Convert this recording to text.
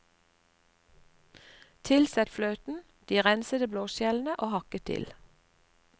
Tilsett fløten, de rensede blåskjellene og hakket dill.